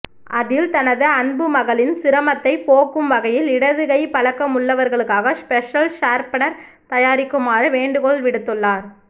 அதில் தனது அன்புமகளின் சிரமத்தை போக்கும் வகையில் இடதுகை பழக்கம் உள்ளவர்களுக்காக ஸ்பெஷல் ஷார்ப்னர் தயாரிக்குமாறு வேண்டுகோள் விடுத்துள்ளார்